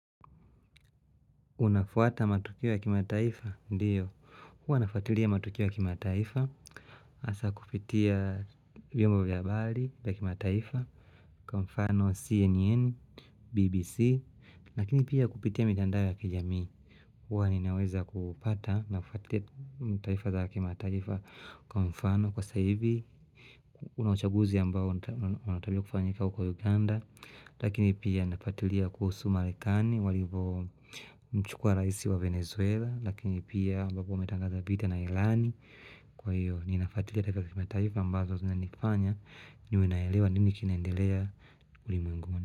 Unafuata matukio ya kima taifa? Ndio. Hua nafuatilia matukio ya kima taifa. Asa kupitia viombo vya habari ya kima taifa. Kwamfano CNN, BBC. Lakini pia kupitia mitandao ya kijami. Hua ninaweza kupata na kufatia taifa ya kima taifa. Kwamfano kwa sahibi. Unauchaguzi ambao unatabio kufanyika huko Uganda. Lakini pia nafatilia kuhusu marekani. Walivo mchukua raisi wa Venezuela Lakini pia ambapo wametangaza bita na ilani Kwa hiyo ni nafatili atakimataifu ambazo zinanifanya ni wenaelewa nini kinaendelea ulimwenguni.